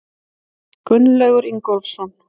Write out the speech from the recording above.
Gunnlaugur Ingólfsson.